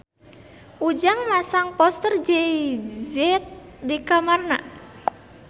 Ujang masang poster Jay Z di kamarna